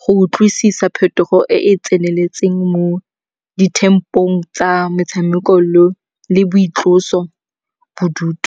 go utlwisisa phetogo e e tseneletseng mo dithempong tsa metshameko le boitloso bodutu.